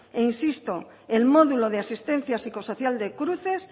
insisto el módulo de asistencia psicosocial de cruces